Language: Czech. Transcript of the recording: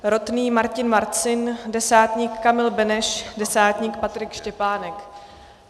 Rotný Martin Marcin, desátník Kamil Beneš, desátník Patrik Štěpánek.